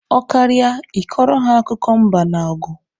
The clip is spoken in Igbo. Ọ karịa I kọrọ ha akụkọ mba na ọgụ